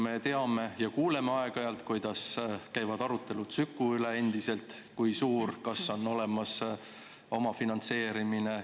Me kuuleme aeg-ajalt, kuidas käivad endiselt arutelud Süku üle, et kui suur ja kas on olemas omafinantseerimine.